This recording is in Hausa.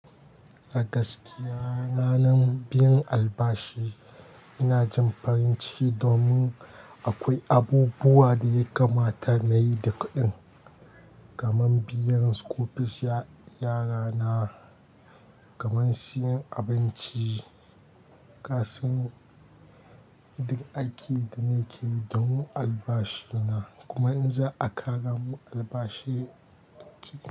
A gaskiya ranar biyan albashi ina jin farin ciki domin akwai abubuwa da ya kamata nayi da kuɗin, kamar biyan school fees yara na, kamar siyan abinci. Kasan duk aikin da nakeyi domin albashi na, kuma in za'a karamun albashi.